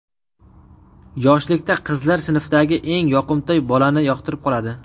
Yoshlikda qizlar sinfidagi eng yoqimtoy bolani yoqtirib qoladi.